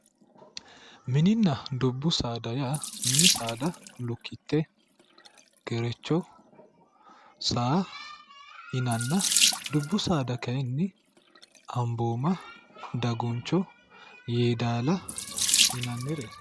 Mininna dubbu saada yaa mini saada lukkite ,Gerecho, saa yinnanna dubbu saada kayinni Amboomma ,Daguncho Yeedalla yinnannireeti